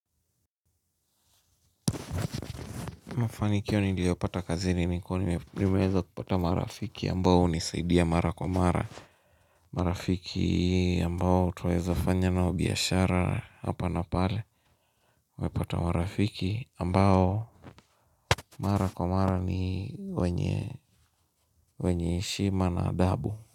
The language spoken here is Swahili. Mafanikio niliyopata kazini ni kuwa nimeweza kupata marafiki ambao hunisaidia mara kwa mara marafiki ambao tunaweza fanya nao biashara hapa na pale unapata marafiki ambao mara kwa mara ni wenye wenye heshima na adabu.